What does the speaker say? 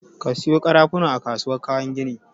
Ka sayo ƙarafuna a kasuwar kayan gini!